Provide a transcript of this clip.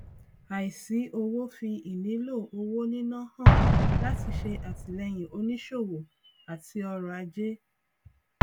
àìsí owó fi ìnílò owó níná hàn láti ṣe àtìléyìn onísòwò àti ọrọ ajé